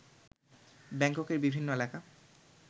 ব্যাংককের বিভিন্ন এলাকা